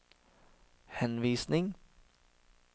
henvisning